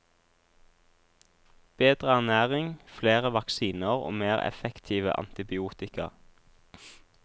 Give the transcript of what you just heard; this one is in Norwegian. Bedre ernæring, flere vaksiner og mer effektive antibiotika.